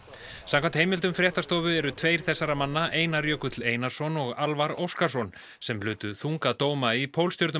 samkvæmt heimildum fréttastofu eru tveir þessara manna Einar Jökull Einarsson og Óskarsson sem hlutu þunga dóma í